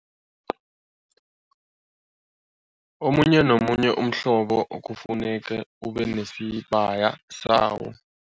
Omunye nomunye umhlobo kufuneka ube nesibaya sawo.